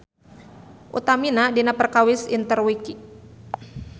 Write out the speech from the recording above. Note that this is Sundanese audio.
Utamina dina perkawis Interwiki.